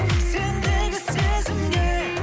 сендегі сезімге